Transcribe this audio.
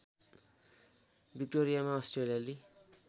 विक्टोरियामा अस्ट्रेलियाली